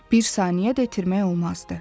Bir saniyə də itirmək olmazdı.